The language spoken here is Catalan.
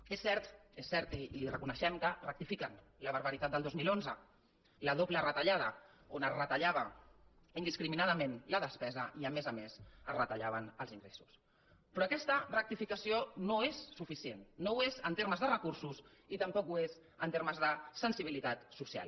és cert i li ho reconeixem que rectifiquen la barbaritat del dos mil onze la doble retallada on es retallava indiscriminadament la despesa i a més a més es retallaven els ingressos però aquesta rectificació no és suficient no ho és en termes de recursos i tampoc ho és en termes de sensibilitat social